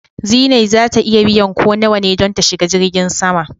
Zinai za ta iya biyan ko nawa ne don ta shiga jirgin sama.